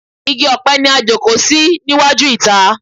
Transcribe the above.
Igi ọpẹ ni a jókòó sí níwájú ìta.